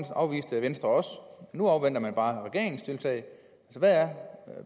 afviste venstre også nu afventer man bare regeringens tiltag hvad er